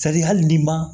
hali n'i ma